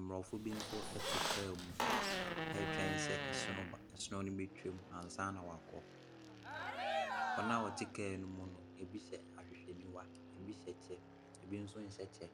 Mmorɔfo bi nso te car mu retwɛn asono no betwa mu ansa wɔakɔ. Wɔn a wɔte car no mu no, ebi hyɛ ahwehwɛniwa, ebi hyɛ kyɛ, ebi nso nhyɛ kyɛ.